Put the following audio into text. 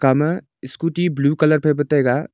ema scooty blue colour phai pa taiga.